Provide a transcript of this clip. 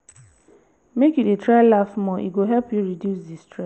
you dey try laugh more e go help you reduce di.